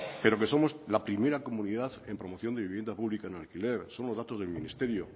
pero que somos la primera comunidad en promoción de vivienda pública en alquiler son los datos del ministerio